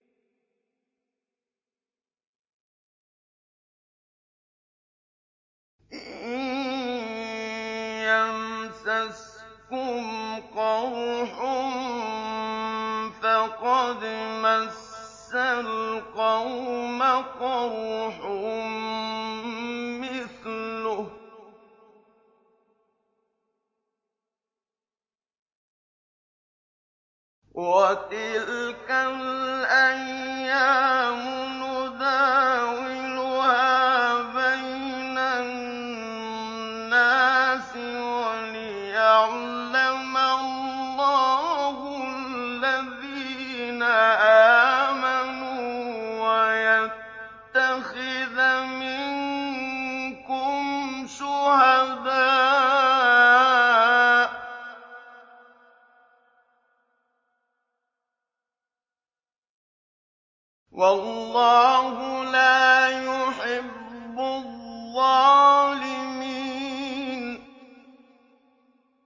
إِن يَمْسَسْكُمْ قَرْحٌ فَقَدْ مَسَّ الْقَوْمَ قَرْحٌ مِّثْلُهُ ۚ وَتِلْكَ الْأَيَّامُ نُدَاوِلُهَا بَيْنَ النَّاسِ وَلِيَعْلَمَ اللَّهُ الَّذِينَ آمَنُوا وَيَتَّخِذَ مِنكُمْ شُهَدَاءَ ۗ وَاللَّهُ لَا يُحِبُّ الظَّالِمِينَ